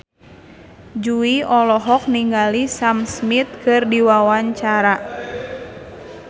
Jui olohok ningali Sam Smith keur diwawancara